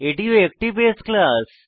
এটিও একটি বাসে ক্লাস